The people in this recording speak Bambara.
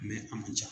a man ca